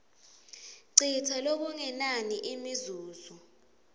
citsa lokungenani imizuzu